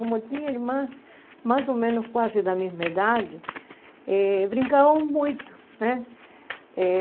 Como eu tinha irmãs mais ou menos quase da mesma idade, eh brincávamos muito, né? Eh